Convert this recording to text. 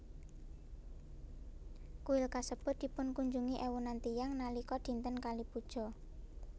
Kuil kasebut dipunkunjungi éwunan tiyang nalika dinten Kali Puja